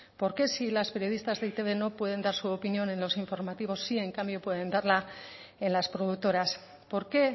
por qué si las periodistas de e i te be no pueden dar su opinión en los informativos sí en cambio pueden darla en las productoras por qué